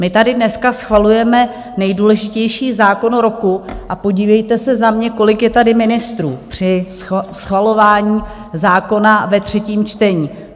My tady dneska schvalujeme nejdůležitější zákon roku a podívejte se za mě, kolik je tady ministrů při schvalování zákona ve třetím čtení?